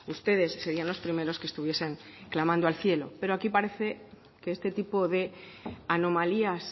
ustedes serían los primeros que estuviesen clamando al cielo pero aquí parece que este tipo de anomalías